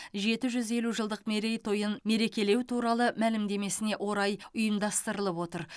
жеті жүз елу жылдық мерейтойын мерекелеу туралы мәлімдемесіне орай ұйымдастырылып отыр